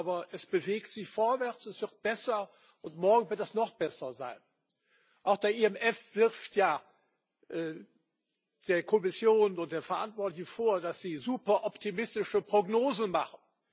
Aber es bewegt sich vorwärts, es wird besser, und morgen wird es noch besser sein. Auch der IMF wirft ja der Kommission und den Verantwortlichen vor, dass sie super optimistische Prognosen machen.